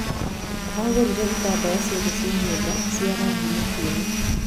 Agũrire itambaya ciothe cia nyũmba ci arangi mũtune.